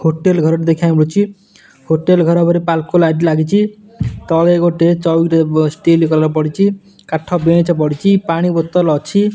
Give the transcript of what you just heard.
Hotel ଘରଟେ ଦେଖିବାକୁ ମିଲୁଚି ହୋଟେଲ୍ ଘର୍ ଉପରେ ପାଲକୋ ଲାଇଟ୍ ଲାଗିଚି ତଳେ ଗୋଟେ ଚୋଉକି ଷ୍ଟିଲ କଲର୍ ପଡିଚି କାଠ ବେଞ୍ଚ ପଡ଼ିଚି ପାଣି ବୋତଲ ଅଛି।